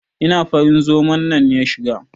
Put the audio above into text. Ina farin zoman nan ya shiga?